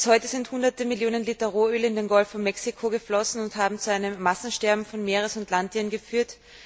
Bis heute sind hunderte Millionen Liter Rohöl in den Golf von Mexiko geflossen und haben zu einem Massensterben von Meeres und Landtieren geführt.